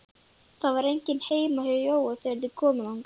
Það var enginn heima hjá Jóa þegar þeir komu þangað.